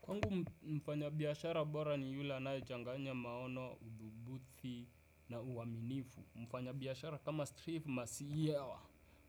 Kwangu mfanya biashara bora ni yule anayechanganya maono, udhubuthi na uaminifu. Mfanya biashara kama strifu masiyewa